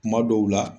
Kuma dɔw la